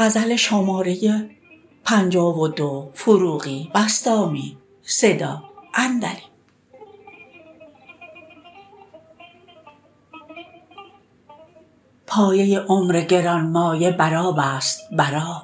پایه عمر گران مایه بر آب است برآب